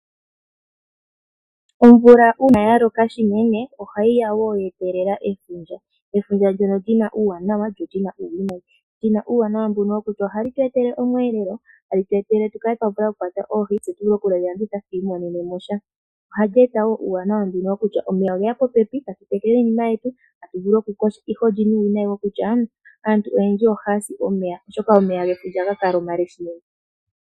Omvula uuna ya loka unene, ohayi ya wo ye telela efundja. Efundja ndyono li na uuwanawa lyo li na uuwinayi. Li na uuwanawa wokutya ohali tu etele omweelelo, hali tu etele tu kwate oohi tse tu vule okudhi landitha tu imonene mo sha. Ohali eta wo uuwanawa mbuno kutya omeya oge ya popepi, tatu tekele iinima yetu, tatu vulu okuyoga. Ihe oli na uuwinayi kutya aantu oyendji ohaya si omeya, oshoka omeya ohaga kala omale noonkondo.